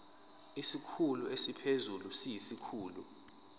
isikhulu esiphezulu siyisikhulu